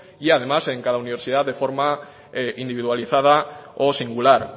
y además en cada universidad de forma individualizada o singular